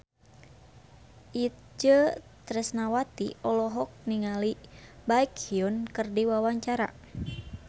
Itje Tresnawati olohok ningali Baekhyun keur diwawancara